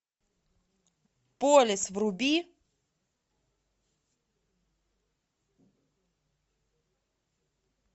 полис вруби